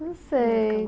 Não sei.